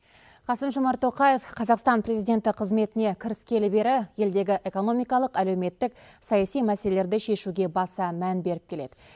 қасым жомарт тоқаев қазақстан президенті қызметіне кіріскелі бері елдегі экономикалық әлеуметтік саяси мәселелерді шешуге баса мән беріп келеді